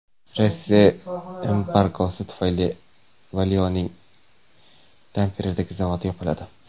Rossiya embargosi tufayli Valio‘ning Tamperedagi zavodi yopiladi.